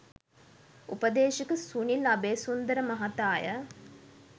උපදේශක සුනිල් අබේසුන්දර මහතාය.